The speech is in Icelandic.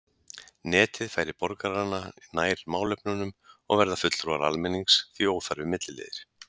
Netið færir borgarana nær málefnunum og verða fulltrúar almennings því óþarfir milliliðir.